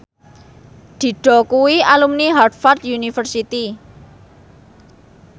Dido kuwi alumni Harvard university